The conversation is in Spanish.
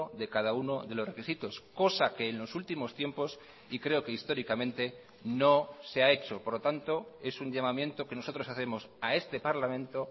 de cada uno de los requisitos cosa que en los últimos tiempos y creo que históricamente no se ha hecho por lo tanto es un llamamiento que nosotros hacemos a este parlamento